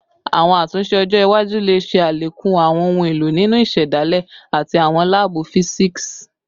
Awọn atunṣe ọjọ iwaju le ṣe alekun awọn ohun elo ninu isedale ati awọn laabu fisiksi